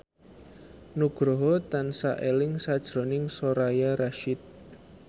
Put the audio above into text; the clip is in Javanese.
Nugroho tansah eling sakjroning Soraya Rasyid